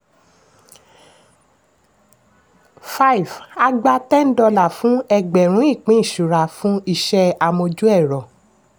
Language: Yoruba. five a gba ten dollar fún ẹgbẹ̀rún ìpín ìṣura fún iṣẹ́ amójú-ẹ̀rọ̀.